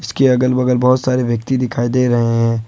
इसके अगल बगल बहुत सारे व्यक्ति दिखाई दे रहे हैं।